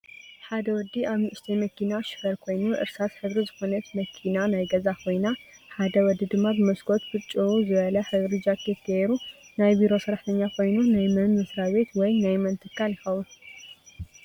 ሓደ ወዲ ኣብ ንእሽተይ መኪና ሽፈር ኮይኑ እርሳስ ሕብሪ ዝኮነት መኪና ናይ ገዛ ኮይና ሓደ ወዲ ድማ ብመስኮት ብጭው ዝበለ ሕብሪ ጃኪት ገይሩ ናይ ቤሮ ሰራሕተኛ ኮይኑ ናይ መን መስራቤት ወይ ናይ መን ትካል ይከውን?